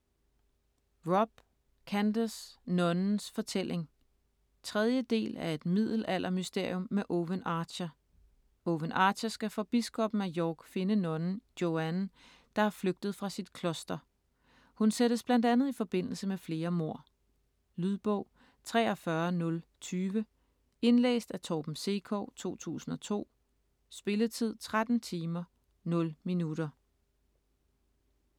Robb, Candace: Nonnens fortælling 3. del af Et middelaldermysterium med Owen Archer. Owen Archer skal for biskoppen af York finde nonnen Joanne, der er flygtet fra sit kloster. Hun sættes bl.a. i forbindelse med flere mord. Lydbog 43020 Indlæst af Torben Sekov, 2002. Spilletid: 13 timer, 0 minutter.